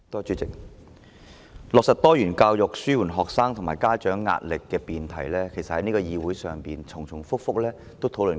主席，"落實多元教育紓緩學生及家長壓力"的辯題，其實在這個議會已經多次重複討論。